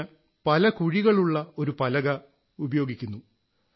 ഇതിന് പല കുഴികളുള്ള ഒരു പലക ഉപയോഗിക്കപ്പെടുന്നു